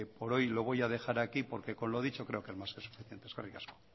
por hoy lo voy a dejar aquí porque con lo dicho creo que es más que suficiente eskerrik asko